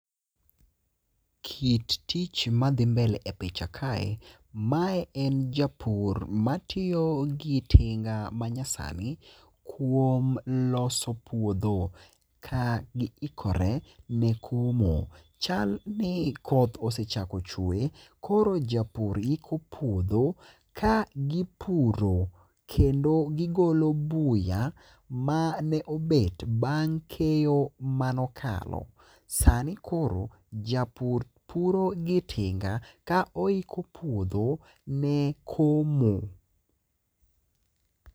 Kit tich madhi mbele epicha kae mae en japur matiyo gi tinga manyasani kuom loso puodho ka giikore ne komo. Chal ni koth osechako chwe koro japur iko puodho ka gipuro kendo gigolo buya mane obet bang' keyo mane okalo. Sani japur puro gi tinga ka oiko puodho ne komo.